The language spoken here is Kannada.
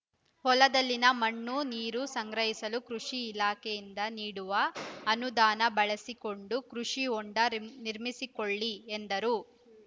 ಹೊಲದಲ್ಲಿನ ಮಣ್ಣು ನೀರು ಸಂಗ್ರಹಿಸಲು ಕೃಷಿ ಇಲಾಖೆಯಿಂದ ನೀಡುವ ಅನುದಾನ ಬಳಸಿಕೊಂಡು ಕೃಷಿಹೊಂಡ ನಿರ್ಮಿಸಿಕೊಳ್ಳಿ ಎಂದರು